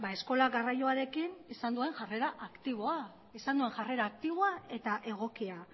eskola garraioarekin izan duen jarrera aktiboa eta egokia